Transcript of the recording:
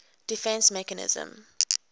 defence mechanism